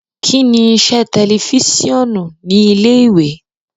Kini iṣẹ ti tẹlifisiọnu ni ile-iwe?